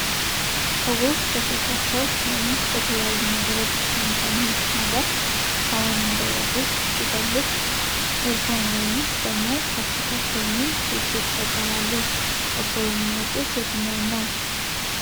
ሰዎች በስልካቸው ወይም በተለያዩ ነገሮች የሚሰሙት ነገር ሰውን እንዳይረብሽ ሲፈለግ ኤርፎን ወይም ደግሞ ከሱ ከፍ የሚል ሄድ ሴት ይጠቀማሉ። እርሶ የሚመርጡት የትኛውን ነው?